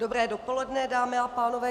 Dobré dopoledne, dámy a pánové.